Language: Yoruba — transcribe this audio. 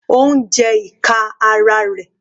Ó ń jẹ ìka ara rẹ̀.